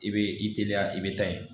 I bɛ i teliya i bɛ tan in